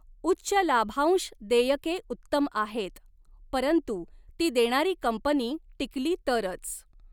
उच्च लाभांश देयके उत्तम आहेत, परंतु ती देणारी कंपनी टिकली तरच.